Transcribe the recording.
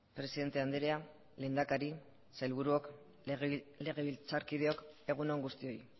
presidente andrea lehendakari sailburuok legebiltzarkideok egun on guztioi